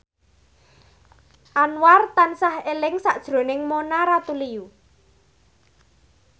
Anwar tansah eling sakjroning Mona Ratuliu